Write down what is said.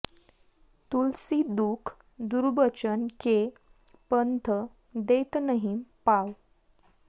तुलसी दुख दुर्बचन के पंथ देत नहिं पाँव